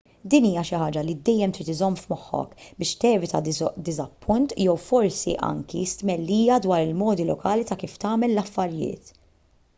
din hija xi ħaġa li dejjem trid iżżomm f'moħħok biex tevita diżappunt jew forsi anki stmellija dwar il-modi lokali ta' kif tagħmel l-affarijiet